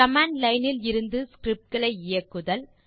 command line இலிருந்து scripts களை இயக்குதல்